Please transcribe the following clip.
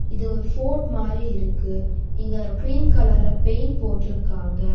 இது ஒரு ஃபோர்ட் மாறி இருக்கு இங்க கிரீன் கலர்ல பெயின்ட் போட்டிருக்காங்க.